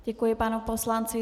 Děkuji panu poslanci.